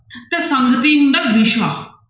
ਤੇ ਹੁੰਦਾ ਵਿਸ਼ਾ।